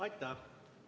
Aitäh!